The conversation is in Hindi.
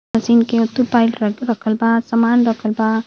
मशीन के पाइल रखल बा सामान रखल बा।